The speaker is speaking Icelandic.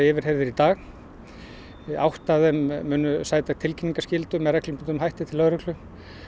yfirheyrðir í dag átta af þeim munu sæta tilkynningaskyldu með reglubundnum hætti til lögreglu